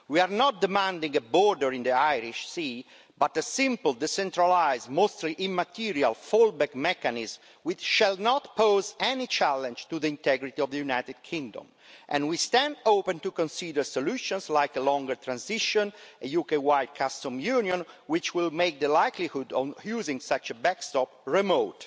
We are not demanding a border in the Irish Sea but a simple, decentralised, mostly immaterial fall back mechanism which shall not pose any challenge to the integrity of the United Kingdom, and we stand open to consider solutions like a longer transition and a UK wide customs union, which will make the likelihood of using such a backstop remote.